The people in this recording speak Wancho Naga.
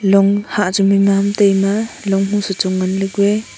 long hah chu meima mantai ma long ho sachong ngan ley kua.